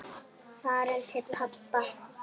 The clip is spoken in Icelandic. Farin til pabba.